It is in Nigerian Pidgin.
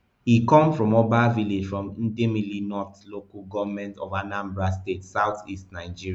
e come from oba village for idemili north local goment for anambra state south east nigeria